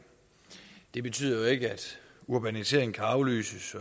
det betyder ikke at urbaniseringen kan aflyses